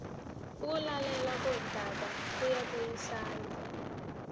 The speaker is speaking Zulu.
ukulalelwa kodaba lokubuyisana